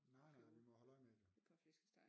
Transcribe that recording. Nej nej vi må holde øje med det